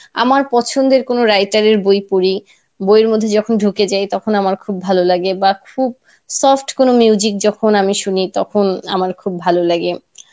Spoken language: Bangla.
আমার পছন্দের কোনো writer এর বই পড়ি বইয়ের মধ্যে যখন ঢুকে যাই তখন আমার খুব ভালো লাগে বা খুব soft কোনো যখন আমি শুনি তখন আমার খুব ভালো লাগে,